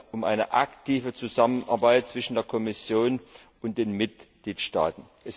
Es geht um eine aktive Zusammenarbeit zwischen der Kommission und den Mitgliedstaaten.